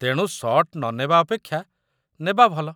ତେଣୁ ଶଟ୍ ନ ନେବା ଅପେକ୍ଷା ନେବା ଭଲ।